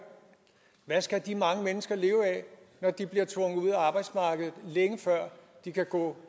hvad skal de mange mennesker leve af når de bliver tvunget ud af arbejdsmarkedet længe før de kan gå